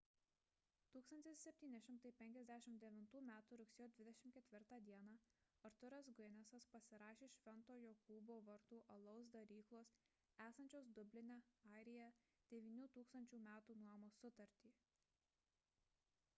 1759 m. rugsėjo 24 d. arthuras guinnessas pasirašė šv. jokūbo vartų alaus daryklos esančios dubline airija 9 000 metų nuomos sutartį